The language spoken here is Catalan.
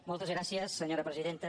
moltes gràcies senyora presidenta